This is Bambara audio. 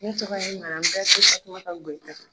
Ne tɔgɔ ye Bɛrite Fatumata Goyita.